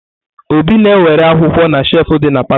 Obi na-ewere akwụkwọ na shefu dị na palọ.